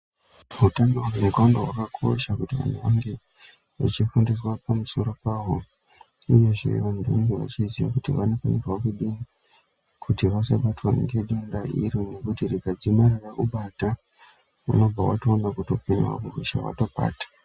Utano hwendxondo hwakakosha kuti vanthu vange vachifundiswa pamusoro pahwo uyezve vanthu vange vachiziya kuti vanofanirwa kudii kuti vasabatwa ngedenda iri nokuti rikadzimara rakubata unobva watoona kuti upenyu hwako hweshe hwatopata.